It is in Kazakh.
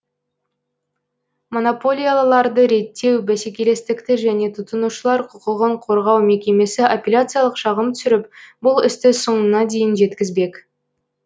монополияларды реттеу бәсекелестікті және тұтынушылар құқығын қорғау мекемесі апелляциялық шағым түсіріп бұл істі соңына дейін жеткізбек